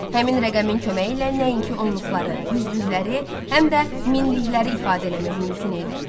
Həmin rəqəmin köməyi ilə nəinki onluqları, yüzlükləri, həm də minlikləri ifadə eləmək mümkün idi.